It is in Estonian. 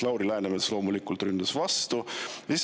Lauri Läänemets loomulikult ründas vastu.